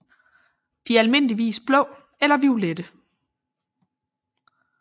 De er almindeligvis blå eller violette